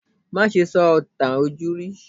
Má ṣe sọ ìtàn ojúrí!